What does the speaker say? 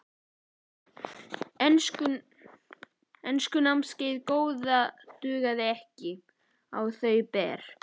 Enskunámið góða dugði ekki á þau ber.